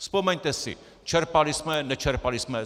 Vzpomeňte si, čerpali jsme, nečerpali jsme.